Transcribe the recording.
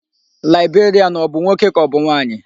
Laịberịanụ ọ bụ nwoke kaọbụ nwaanyị?